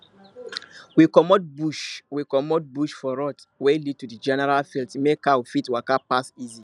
we comot bush we comot bush for road wey lead to the general field make cow fit waka pass easy